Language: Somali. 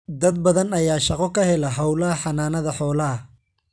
Dad badan ayaa shaqo ka hela hawlaha xanaanada xoolaha.